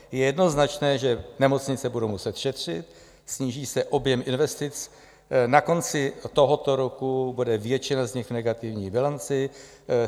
Je jednoznačné, že nemocnice budou muset šetřit, sníží se objem investic, na konci tohoto roku bude většina z nich v negativní bilanci.